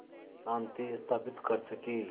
शांति स्थापित कर सकें